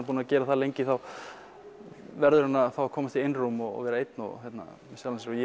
búinn að gera það lengi þá verður hann að komast í einrúm og vera einn með sjálfum sér og